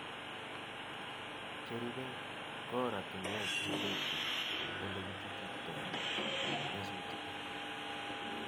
Cherubei ko oratinwek che terchin Ole kichuchuktoi nyasutichu